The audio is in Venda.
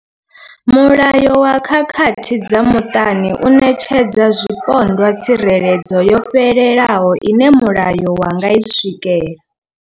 Mulayo wa khakhathi dza muṱani u ṋetshedza zwipondwa tsireledzo yo fhelelaho ine mulayo wa nga i swikela.